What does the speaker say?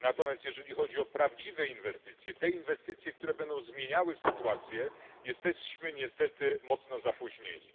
Natomiast jeżeli chodzi o prawdziwe inwestycje, te inwestycje, które będą zmieniały sytuację, jesteśmy niestety mocno zapóźnieni.